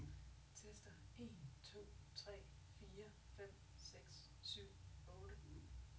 Tester en to tre fire fem seks syv otte.